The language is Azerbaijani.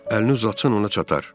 Əlini uzatsan, ona çatar.